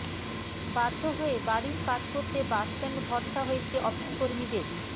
বাধ্য হয়ে বাড়ির কাজ করতে বাসস্ট্যান্ড ভরসা হয়েছে অফিস কর্মীদের